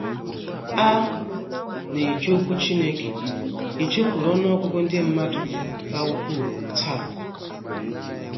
“ A na - eji Okwu Chineke ejekwuru ọnụ ọgụgụ ndị mmadụ ka ukwuu taa. ”